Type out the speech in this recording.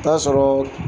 Taa sɔrɔ